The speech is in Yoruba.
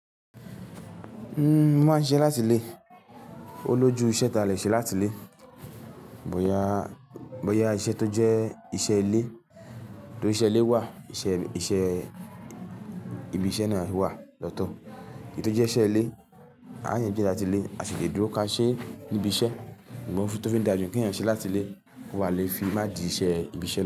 Uhm, máa ń ṣẹ́ láti lé. Ó lójú iṣẹ́ ta lè ṣe láti lé. Bo ya, bo ya iṣẹ́ tó jẹ́ iṣẹ́ ilé, tó iṣẹ́ ilé wà, iṣẹ́, iṣẹ́ ibi iṣẹ́ náà wà lọ́tọ̀. Èyí tó jẹ́ iṣẹ́ ilé, à yẹn jẹ́ láti lé, a sì lè dúró ká ṣe níbi iṣẹ́. Ǹbọ̀ fún tí ó fi ń dá jù kí ẹ̀yàn ṣẹ́ láti lé kó wà le fi má di iṣẹ́ ibi iṣẹ́ náà.